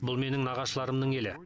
бұл менің нағашыларымның елі